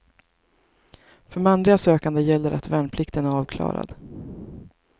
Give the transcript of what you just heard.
För manliga sökande gäller att värnplikten är avklarad.